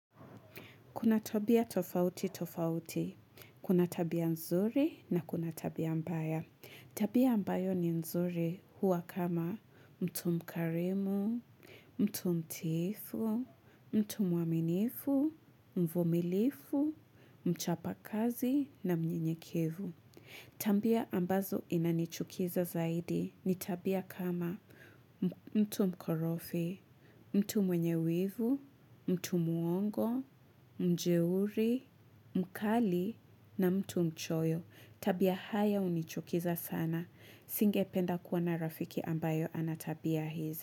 Kuna tabia tofauti tofauti, kuna tabia nzuri na kuna tabia mbaya. Tabia ambayo ni nzuri hua kama mtu mkarimu, mtu mtiifu, mtu mwaminifu, mvumilivu, mchapakazi na mnyenyekevu. Tabia ambazo inanichukiza zaidi ni tabia kama mtu mkorofi, mtu mwenye wivu, mtu muongo, mjeuri, mkali na mtu mchoyo. Tabia haya unichukiza sana. Singependa kuwa na rafiki ambayo ana tabia hizi.